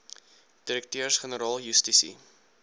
direkteurs generaal justisie